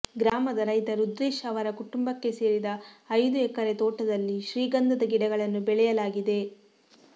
ಗ್ರಾಮದ ರೈತ ರುದ್ರೇಶ್ ಅವರ ಕುಟಂಬಕ್ಕೆ ಸೇರಿದ ಐದು ಎಕೆರೆ ತೋಟದಲ್ಲಿ ಶ್ರೀಗಂಧದ ಗಿಡಗಳನ್ನು ಬೆಳೆಯಲಾಗಿದೆ